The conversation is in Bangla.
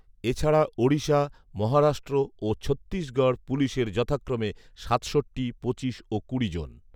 এছাড়া ওড়িশা, মহারাষ্ট্র ও ছত্তীসগঢ় পুলিশের যথাক্রমে সাতষট্টি, পঁচিশ ও কুড়ি জন